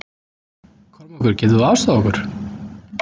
Kormákur getur þú aðstoðað okkur?